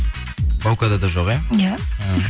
баукада да жоқ иә иә